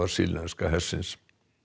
sýrlenska hersins